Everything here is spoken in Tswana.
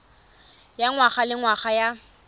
ya ngwaga le ngwaga ya